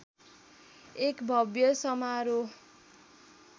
एक भव्य समारोह